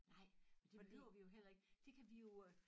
Nej men det behøver vi jo heller ik det kan vi jo øh